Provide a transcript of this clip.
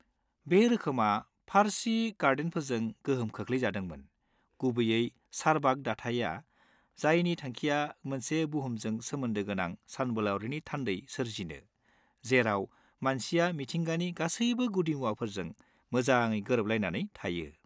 -बे रोखोमआ फारसि गार्डेनफोरजों गोहोम खोख्लैजादोंमोन, गुबैयै चारबाग दाथाइया, जायनि थांखिया मोनसे बुहुमजों सोमोन्दो गोनां सानबोलावरिनि थानदै सोरजिनो, जेराव मानसिया मिथिंगानि गासैबो गुदिमुवाफोरजों मोजाङै गोरोबलायनानै थायो।